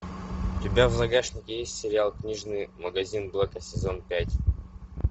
у тебя в загашнике есть сериал книжный магазин блэка сезон пять